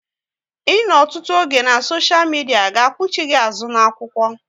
Ịnọ ọtụtụ oge na soshia midia ga kpuchie gị azụ na-akwụkwọ